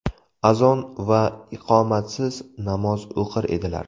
Azon va iqomatsiz namoz o‘qir edilar.